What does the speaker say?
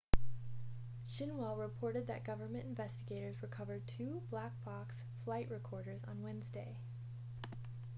xinhua reported that government investigators recovered two black box' flight recorders on wednesday